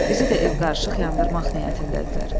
Bizi də ev qarışıq yandırmaq niyyətindədirlər.